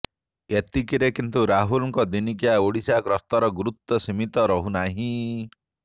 ଏତିକିରେ କିନ୍ତୁ ରାହୁଲଙ୍କ ଦିନିକିଆ ଓଡ଼ିଶା ଗସ୍ତର ଗୁରୁତ୍ବ ସୀମିତ ରହୁ ନାହିଁ